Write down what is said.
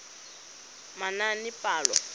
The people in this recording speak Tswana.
manaanepalo